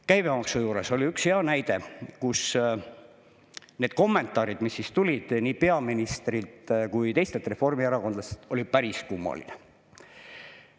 Käibemaksu juures oli üks hea näide, kus need kommentaarid, mis tulid nii peaministrilt kui ka teistelt reformierakondlaselt, olid päris kummalised.